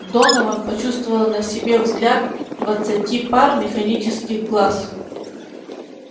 донован почувствовал на себе взгляд двадцати пар механических глаз